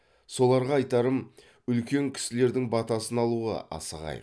соларға айтарым үлкен кісілердің батасын алуға асығайық